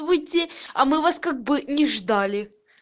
выйти а мы вас как бы не ждали